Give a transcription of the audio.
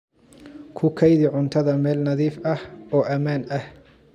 Ku kaydi cuntada meel nadiif ah oo ammaan ah.